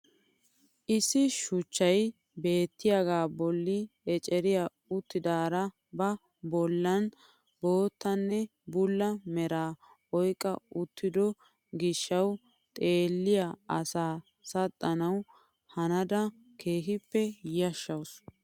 Issi shuchchay beettiyaaga bolli eceriyaa uttidara ba bollan boottanne bulla meraa oyqqa uttido gishshawu xeelliyaa asaa saxxanawu hanada keehippe yashshawus.